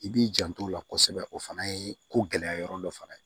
I b'i janto o la kosɛbɛ o fana ye ko gɛlɛya yɔrɔ dɔ fana ye